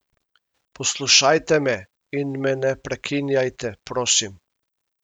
Poslušajte me in me ne prekinjajte, prosim!